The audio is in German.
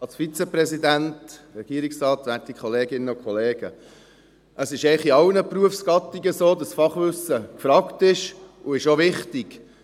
Es ist eigentlich in allen Berufsgattungen so, dass Fachwissen gefragt ist, und es ist auch wichtig.